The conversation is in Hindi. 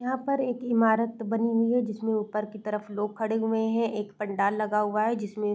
यहाँ पर एक इमारत बनी हुई है जिसमें ऊपर की तरफ लोग खड़े हुए हैं। एक पंडाल लगा हुआ है जिसमें --